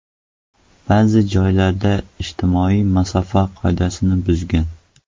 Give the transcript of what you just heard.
Ba’zi joylarda ijtimoiy masofa qoidasini buzgan.